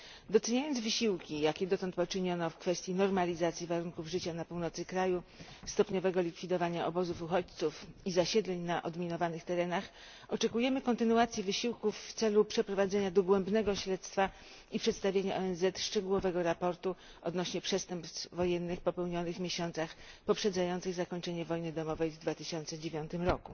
Doceniając wysiłki, jakie dotąd poczyniono w kwestii normalizacji warunków życia na północy kraju, stopniowego likwidowania obozów uchodźców i zasiedleń na odminowanych terenach, oczekujemy kontynuacji wysiłków w celu przeprowadzenia dogłębnego śledztwa i przedstawienia ONZ szczegółowego raportu na temat przestępstw wojennych popełnionych w miesiącach poprzedzających zakończenie wojny domowej w 2009 r.